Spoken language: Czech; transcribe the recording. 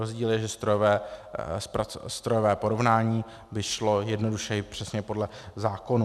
Rozdíl je, že strojové porovnání by šlo jednodušeji přesně podle zákonů.